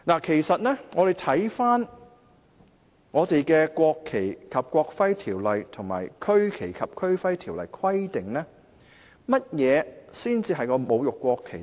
其實，看回《國旗及國徽條例》及《區旗及區徽條例》的規定，甚麼行為才算是侮辱國旗呢？